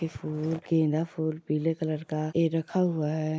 ये फुल गेंदा फुल पीले कलर का ऐ रखा हुआ है।